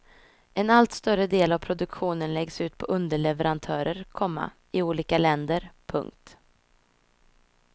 En allt större del av produktionen läggs ut på underleverantörer, komma i olika länder. punkt